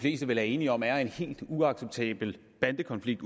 fleste vel er enige om er en helt uacceptabel bandekonflikt